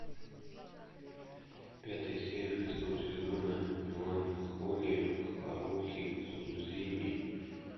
пятая серия шестого сезона меланхолия харухи судзумии